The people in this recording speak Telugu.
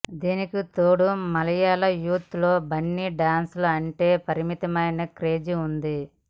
దీనికితోడు మలయాళ యూత్ లో బన్నీ డాన్స్ లు అంటే విపరీతమైన క్రేజ్ వుంది